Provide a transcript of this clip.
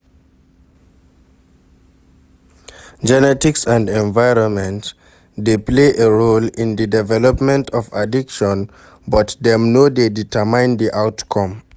Genetics and environment dey play a role in di development of addiction, but dem no dey determine di outcome.